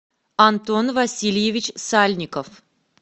антон васильевич сальников